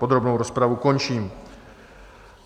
Podrobnou rozpravu končím.